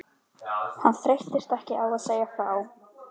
Hann þreyttist ekki á að segja frá